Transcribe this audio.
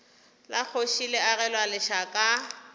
la kgoši le agelwa lešaka